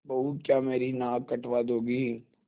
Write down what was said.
बहू क्या मेरी नाक कटवा दोगी